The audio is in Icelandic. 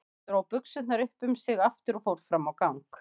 Hún dró buxurnar upp um sig aftur og fór fram á gang.